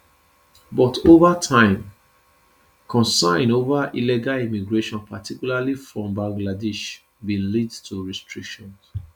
but ova time concin ova illegal immigration particularly from bangladesh bin lead to restrictions